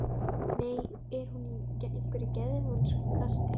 Nú er hún í einhverju geðvonskukasti.